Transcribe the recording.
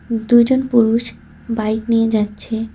দুজন পুরুষ বাইক নিয়ে যাচ্ছে।